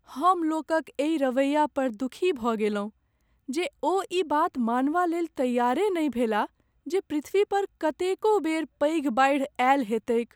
हम लोकक एहि रवैया पर दुखी भऽ गेलहुँ जे ओ ई बात मानबालेल तैआरे नहि भेलाह जे पृथ्वी पर कतेको बेर पैघ बाढ़ि आयल हेतैक ।